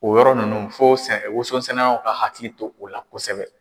O yɔrɔ ninnu fo wososɛnɛlaw ka hakili to o la kosɛbɛ.